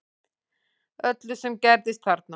Öllu sem gerðist þarna